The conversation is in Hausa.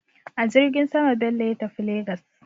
A jirgin sama Bello ya tafi Legas.